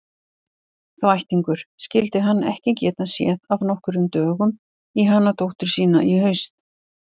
Þvættingur, skyldi hann ekki geta séð af nokkrum dögum í hana dóttur sína í haust.